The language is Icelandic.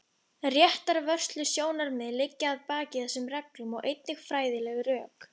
Réttarvörslusjónarmið liggja að baki þessum reglum og einnig fræðileg rök.